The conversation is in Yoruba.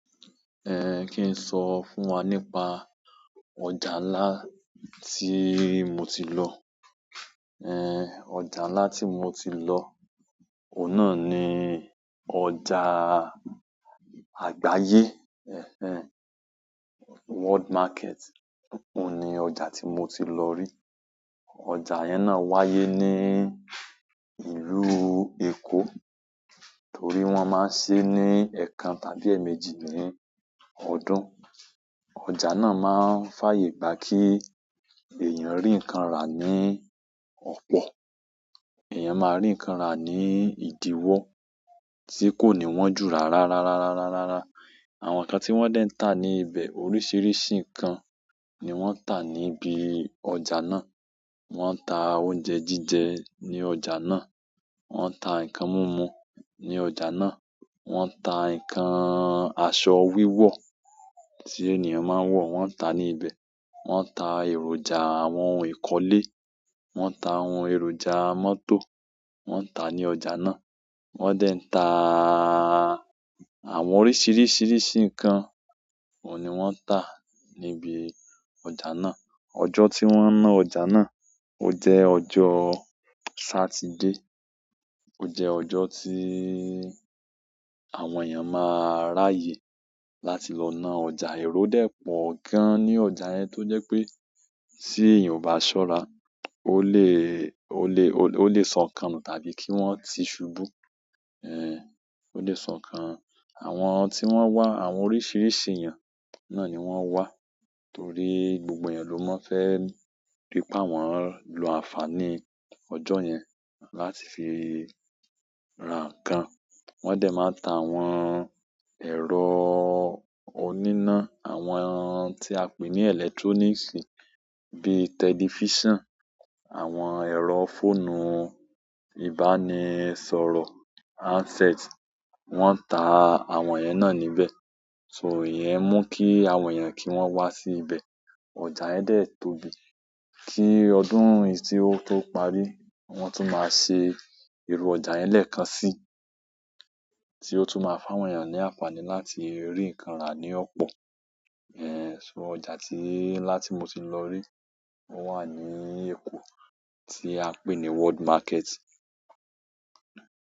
Eh, kí n sọ fún wa nípa ọjà ńlá tí mo ti lọ. Eh, ọjà ńlá tí mo ti lọ, òun na ni ọjà àgbáyé. Ẹ̀hẹ́n, World Market. Ó ni ọjà tí mo ti lọ rí. Ọjà yẹn náá wáyé ní ìlú Èkó, torí wọ́n máa ń ṣe é ní ẹẹkan tàbí ẹẹmejì ní ọdún. Ọjà náà máa ń fàyè gba kí èèyàn rí nǹkan rà ní ọ̀pọ̀. Ẹ̀yàn máa rí nǹkan rà ní ìdíwọ́ tí kò ní wọ́n jù rárá. Àwọn nǹkan tí wọ́n dé ń tà ní ibẹ̀, oríṣiríṣi nǹkan ni wọ́n ń tà níbi ọjà náà. Wọn ta oúnjẹ jíjẹ ni ọjà náà wọ́n ta nǹkan mimu ni ọjà náà, wọ́n ta nǹkan aṣọ wiwo tí ènìyàn maa n wò, wọ́n ta nii ìbẹ̀. Wọ́n ń tà èròjà àwọn ohun ìkọ́lé, wọ́n ń tà àwọn èròjà mọ́tò, wọ́n ń tà ní ọjà náà. Wọ́n dé ń tà àwọn oríṣiríṣi nǹkan, ò ní wọ́n tà níbi ọjà náà. Ọjọ́ tí wọ́n na ọjà náà, ó jẹ́ ọjọ́ Satide. Ó jẹ́ ọjọ́ tí àwọn èèyàn máa ráyè láti lọ na ọjà. Èrò dẹ́ pọ̀ gan ní ọjà yẹn tó jẹ́ pé tí èèyàn ò bá ṣọ́ra, ó lè, ó lè, ó lè sọ nǹkan nu tàbí kí wọ́n ti ṣubú. Eh, ó lè sọnù. Àwọn tí wọ́n wá, àwọn oríṣiríṣi èèyàn náà ni wọ́n wá torí gbogbo èèyàn ló máa fẹ́ rí pa wọn lọ ànfàní ọjọ́ yẹn láti fi ra nǹkan. Wọ́n dé máa ń ta àwọn ẹ̀rọ oníná, àwọn ohun tí a pè ní electroniksi bíi telefisan, àwọn ẹ̀rọ fóònù ìbánisọ̀rọ̀, handset. Wọ́n ń tà àwọn ẹ̀yẹn náà níbẹ̀. So ìyẹn mú kí àwọn èèyàn kí wọ́n wá sí ibẹ̀. Ọjà yẹn dé tóbi kí ọdún yìí tí ó tó parí, wọ́n tún máa ṣe iru ọjà yẹn lẹ́ẹ̀kan sí, tí ó tún máa fáwọn èèyàn ní ànfàní láti rí nǹkan rà ní ọ̀pọ̀. Eh, so ọjà tí ńlá tí mo ti lọ rí, ó wà ní Èkó tí a pè ní World Market.